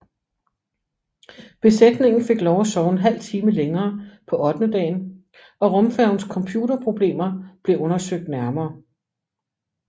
Besætningen fik lov til at sove en halv time længere på ottendedagen og rumfærgens computerproblemer blev undersøgt nærmere